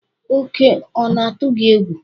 Oke ona-atụ gị egwu?